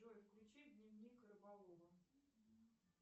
джой включи дневник рыболова